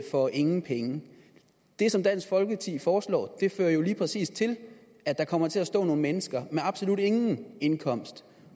for ingen penge det som dansk folkeparti foreslår fører jo lige præcis til at der kommer til at stå nogle mennesker med absolut ingen indkomst